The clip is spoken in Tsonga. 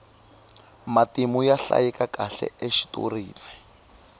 matimu ya hlayekakahle exitorini